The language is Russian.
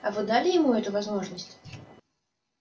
а вы дали ему эту возможность